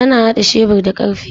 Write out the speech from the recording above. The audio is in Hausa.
Ana hada shebur da karfe.